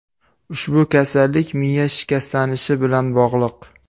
Ushbu kasallik miya shikastlanishi bilan bog‘liq.